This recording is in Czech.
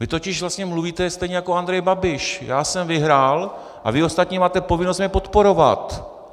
Vy totiž vlastně mluvíte stejně jako Andrej Babiš: Já jsem vyhrál a vy ostatní máte povinnost mě podporovat.